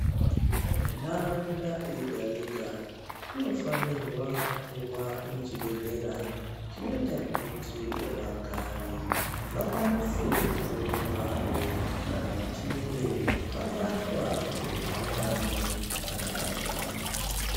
Ntaraunda yegayega inofanirwa kuva ine chibhedhlera chinoita kuti vagari vakwanise kurumbayo kana vachinge vabatwa ngemukhuhlane dzakaparadzana.